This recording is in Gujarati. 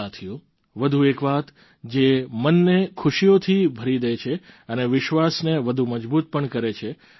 સાથીઓ વધુ એક વાત જે મનને ખુશીઓથી ભરી દે છે અને વિશ્વાસને વધુ મજબૂત પણ કરે છે